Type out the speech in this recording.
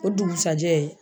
O dugusajɛ.